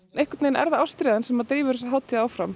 einhvern veginn er það ástríðan sem að drífur þessa hátíð áfram